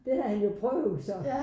Det havde han jo prøvet så